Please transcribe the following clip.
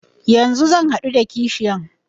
Yanzu zan haɗu da kashiyan.